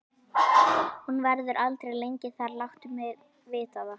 Hún verður aldrei lengi þar, láttu mig vita það.